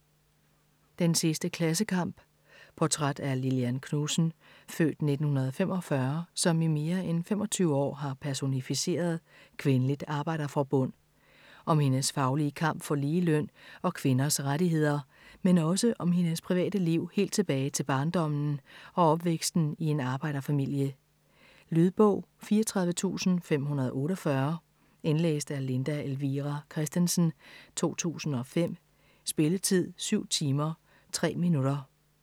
Den sidste klassekamp Portræt af Lillian Knudsen (f. 1945) som i mere en 25 år har personificeret Kvindeligt Arbejderforbund. Om hendes faglige kamp for lige løn og kvinders rettigheder, men også om hendes private liv helt tilbage til barndommen og opvæksten i en arbejderfamilie. Lydbog 34548 Indlæst af Linda Elvira Kristensen, 2005. Spilletid: 7 timer, 3 minutter.